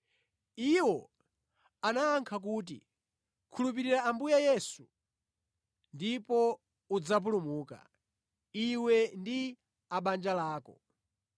Iwo anayankha kuti, “Khulupirira Ambuye Yesu ndipo udzapulumuka, iwe ndi a mʼbanja lako.”